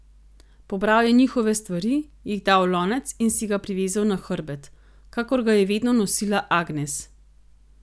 Pobral je njihove stvari, jih dal v lonec in si ga privezal na hrbet, kakor ga je vedno nosila Agnes.